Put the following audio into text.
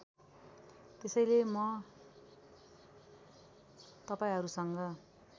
त्यसैले म तपाईँहरूसँग